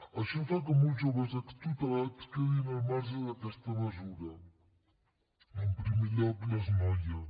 això fa que molts joves extutelats quedin al marge d’aquesta mesura en primer lloc les noies